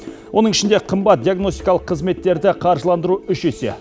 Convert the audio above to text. оның ішінде қымбат диагностикалық қызметтерді қаржыландыру үш есе